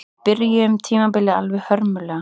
Við byrjuðum tímabilið alveg hörmulega